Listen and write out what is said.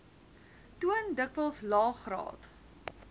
toon dikwels laegraad